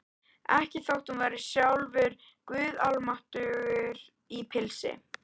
Ekki þótt hún væri sjálfur guð almáttugur í pilsi.